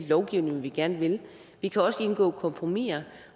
lovgivning vi gerne vil vi kan også indgå kompromiser